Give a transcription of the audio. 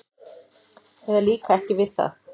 eða líka ekki við það.